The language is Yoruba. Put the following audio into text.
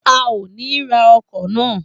A o ni ra ọkọ na